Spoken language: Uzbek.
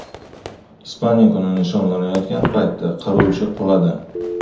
Ispaniya kuni nishonlanayotgan paytda qiruvchi quladi.